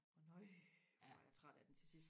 og nøj hvor var jeg træt af den til sidst